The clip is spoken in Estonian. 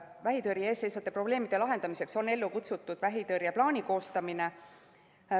Vähitõrje ees seisvate probleemide lahendamiseks on ellu kutsutud vähitõrjeplaani koostamine.